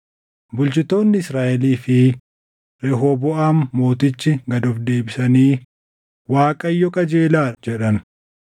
Bulchitoonni Israaʼelii fi Rehooboʼaam mootichi gad of deebisanii, “ Waaqayyo qajeelaa dha” jedhan.